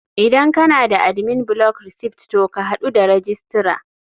Idan kana da admin block receipt to ka hadu da registrar.